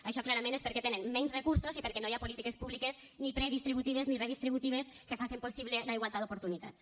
això clarament és perquè tenen menys recursos i perquè no hi ha polítiques públiques ni predistributives ni redistributives que facen possible la igualtat d’oportunitats